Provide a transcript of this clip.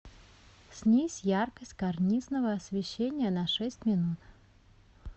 снизь яркость карнизного освещения на шесть минут